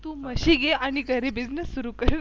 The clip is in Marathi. तु म्हशी घे आणि घरी Business सुरु कर.